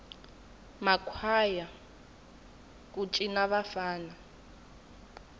ma kwhaya ku ana vafana